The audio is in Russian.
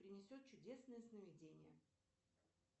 принесет чудесные сновидения